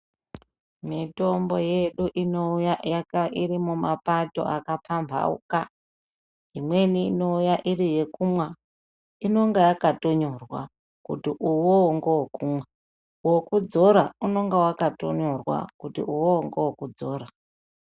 Mitombo yedu inouya irimumapato akapambauka imwnei inouya iri yekumwa inenge yakanyorwa ndeyekumwa wekudzora unenge wakatonyorwa kuti uwowo ndewekudzora.